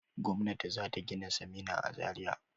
Gwamnati za ta gina sinima a Zariya.